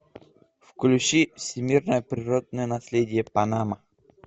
включи всемирное природное наследие панама